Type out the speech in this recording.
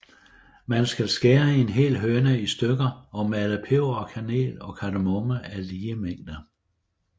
Man skal skære en hel høne i stykker og male peber og kanel og kardemomme af lige mængde